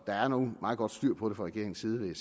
der er nu meget godt styr på det fra regeringens side vil